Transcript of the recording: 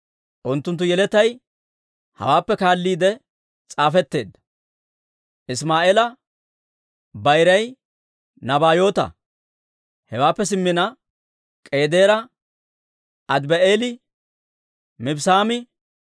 Unttunttu yeletay hawaappe kaalliide s'aafetteedda. Isimaa'eela bayiray Nabaayoota; hewaappe simmina K'eedaare, Adibi'eeli, Mibssaami,